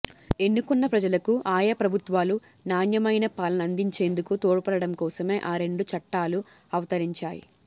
ఎన్నుకున్న ప్రజలకు ఆయా ప్రభుత్వాలు నాణ్యమైన పాలన అందించేందుకు తోడ్పడడం కోసమే ఈ రెండు చట్టాలూ అవతరించాయి